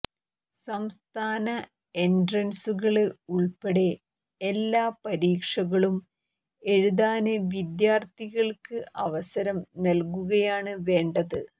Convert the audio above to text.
സംസ്ഥാന എന്ട്രന്സുകള് ഉള്പ്പെടെ എല്ലാ പരീക്ഷകളും എഴുതാന് വിദ്യാര്ഥികള്ക്ക് അവസരം നല്കുകയാണ് വേണ്ടത്